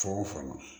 Fan o fan